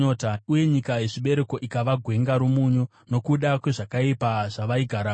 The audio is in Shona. uye nyika yezvibereko ikava gwenga romunyu, nokuda kwezvakaipa zvavaigaramo.